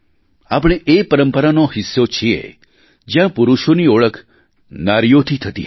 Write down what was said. આપણે એ પરંપરાનો હિસ્સો છીએ જ્યાં પુરુષોની ઓળખ નારીઓથી થતી હતી